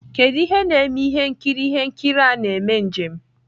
kedu ihe na-eme ihe nkiri ihe nkiri a na-eme njem?